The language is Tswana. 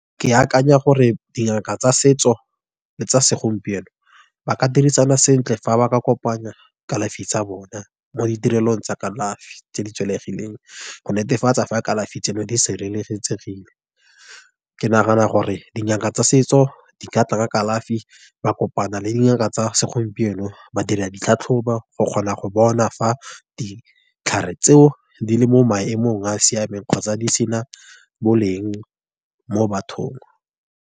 Ke akanya gore dingaka tsa setso, le tsa segompieno, ba ka dirisana sentle fa ba ka kopanya kalafi tsa bona. Mo ditirelong tsa kalafi tse di go netefatsa fa kalafi tseno di sireletsegile. Ke nagana gore dingaka tsa setso di ka tla ka kalafi, ba kopana le dingaka tsa segompieno badiri ditlhatlhobo, go kgona go bona fa ditlhare tseo, di le mo maemong a a siameng kgotsa di sena boleng mo bathong.